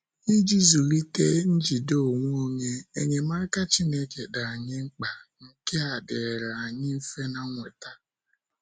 Iji zụlite njide onwe onye, enyemaka Chineke dị anyị mkpa,, nkea diri anyị mfe na nweta.